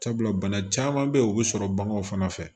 Sabula bana caman bɛ ye o bɛ sɔrɔ baganw fana fɛ